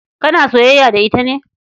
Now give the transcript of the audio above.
Kana soyayya da ita ne?